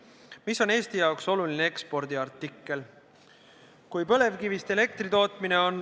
Viimane on Eesti jaoks oluline ekspordiartikkel.